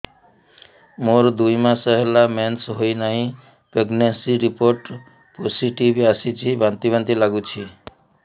ମୋର ଦୁଇ ମାସ ହେଲା ମେନ୍ସେସ ହୋଇନାହିଁ ପ୍ରେଗନେନସି ରିପୋର୍ଟ ପୋସିଟିଭ ଆସିଛି ବାନ୍ତି ବାନ୍ତି ଲଗୁଛି